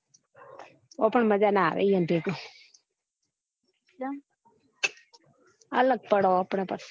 ઓ પણ મજા ના આવે ઈ યો ન ભેગું ચમ અલગ પડો આપને પછી